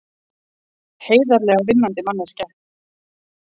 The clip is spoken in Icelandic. Heiðarlega vinnandi manneskja.